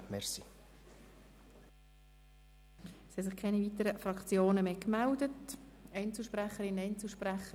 Es haben sich keine weiteren Fraktionssprecher gemeldet und auch keine Einzelsprecherinnen oder Einzelsprecher.